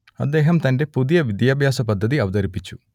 അദ്ദേഹം തന്റെ പുതിയ വിദ്യാഭ്യാസപദ്ധതി അവതരിപ്പിച്ചു